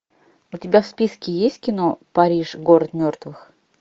у тебя в списке есть кино париж город мертвых